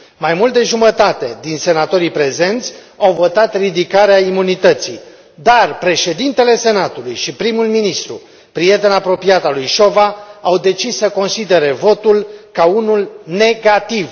Mai mult de jumătate din senatorii prezenți au votat pentru ridicarea imunității, dar președintele Senatului și primul ministru, prieten apropiat al lui Șova, au decis să considere votul ca unul negativ.